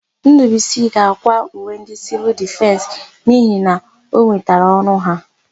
Ndụbụisi ga-àkwá uwe ndị Sịvịl Difensị n'ihi na o nwetara ọrụ ha.